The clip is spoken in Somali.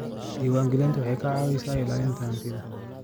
Diiwaangelintu waxay ka caawisaa ilaalinta hantida.